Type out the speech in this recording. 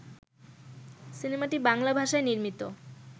সিনেমাটি বাংলা ভাষায় নির্মিত